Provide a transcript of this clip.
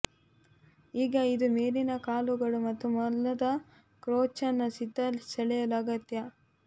ಈಗ ಇದು ಮೇಲಿನ ಕಾಲುಗಳು ಮತ್ತು ಮೊಲದ ಕ್ರೋಚ್ನ ಸಿದ್ಧ ಸೆಳೆಯಲು ಅಗತ್ಯ